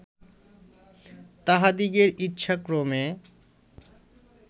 তাঁহাদিগের ইচ্ছাক্রমে